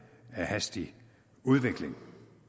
af hastig udvikling